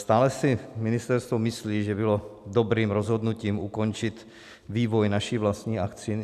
Stále si ministerstvo myslí, že bylo dobrým rozhodnutím ukončit vývoj naší vlastní vakcíny?